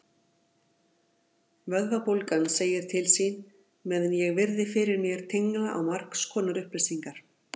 Vöðvabólgan segir til sín meðan ég virði fyrir mér tengla á margskonar upplýsingar.